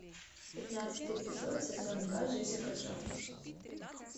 пятнадцатый эпизод сезон два джессика джонс